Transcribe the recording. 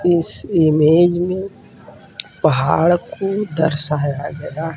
इस इमेज में पहाड़ को दर्शाया गया है।